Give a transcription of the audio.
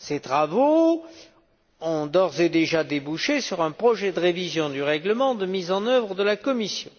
Ses travaux ont d'ores et déjà débouché sur un projet de révision du règlement de mise en œuvre de la Commission.